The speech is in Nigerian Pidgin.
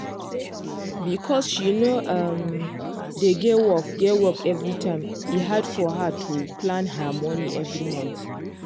because she no um dey get work get work every time e hard for her to plan her monie every month. um